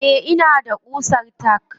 Eh ina da ƙusar tack.